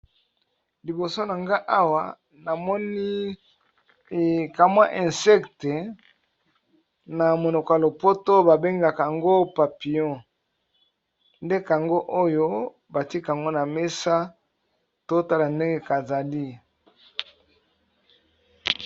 liboso na nga awa namoni kamwa insecte na monoko ya lopoto babengaka yango papion nde kango oyo batika yango na mesa to tala ndenge kazali